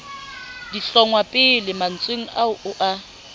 dihlongwapele mantsweng ao o a